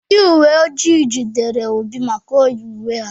Ndị uwe ojii jidere Obi maka iyi uwe ha.